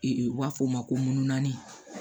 u b'a fɔ o ma ko munnun